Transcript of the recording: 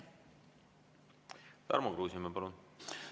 Tarmo Kruusimäe, palun!